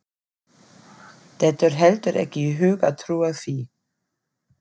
Dettur heldur ekki í hug að trúa því.